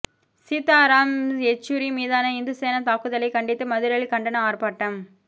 சீத்தாராம் யெச்சுரி மீதான இந்து சேனா தாக்குதலைக் கண்டித்து மதுரையில் கண்டன ஆர்ப்பாட்டம்